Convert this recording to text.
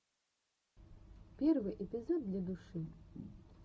первый эпизод для души